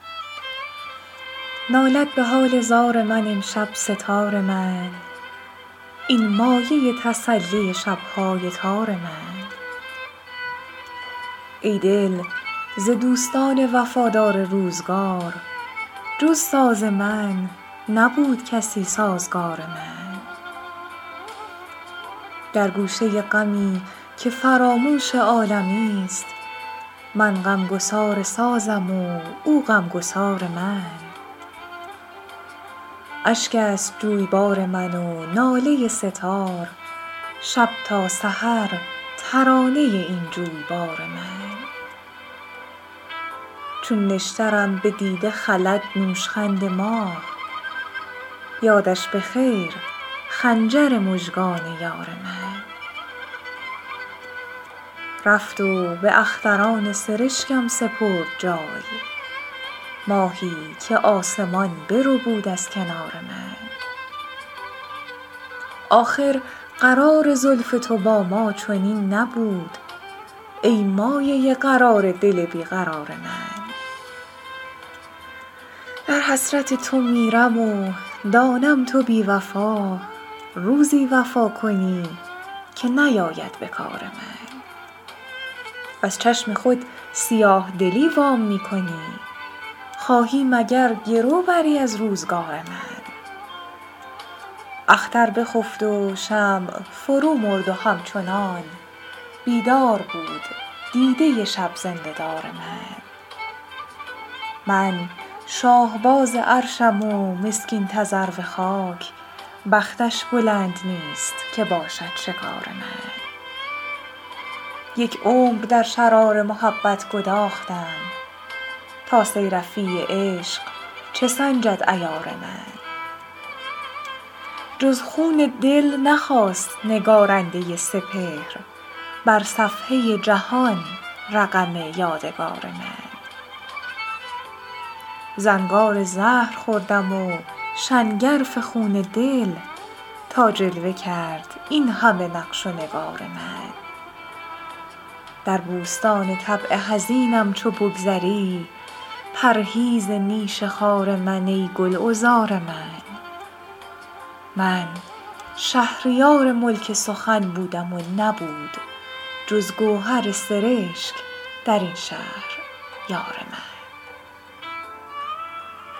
نالد به حال زار من امشب سه تار من این مایه تسلی شب های تار من ای دل ز دوستان وفادار روزگار جز ساز من نبود کسی سازگار من در گوشه غمی که فراموش عالمی است من غمگسار سازم و او غمگسار من اشک است جویبار من و ناله سه تار شب تا سحر ترانه این جویبار من چون نشترم به دیده خلد نوشخند ماه یادش به خیر خنجر مژگان یار من رفت و به اختران سرشکم سپرد جای ماهی که آسمان بربود از کنار من آخر قرار زلف تو با ما چنین نبود ای مایه قرار دل بیقرار من در حسرت تو میرم و دانم تو بی وفا روزی وفا کنی که نیاید به کار من از چشم خود سیاه دلی وام می کنی خواهی مگر گرو بری از روزگار من اختر بخفت و شمع فرو مرد و همچنان بیدار بود دیده شب زنده دار من من شاهباز عرشم و مسکین تذرو خاک بختش بلند نیست که باشد شکار من یک عمر در شرار محبت گداختم تا صیرفی عشق چه سنجد عیار من جز خون دل نخواست نگارنده سپهر بر صفحه جهان رقم یادگار من زنگار زهر خوردم و شنگرف خون دل تا جلوه کرد این همه نقش و نگار من در بوستان طبع حزینم چو بگذری پرهیز نیش خار من ای گلعذار من من شهریار ملک سخن بودم و نبود جز گوهر سرشک در این شهر یار من